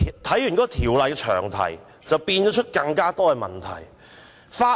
《條例草案》詳題引申出更多問題。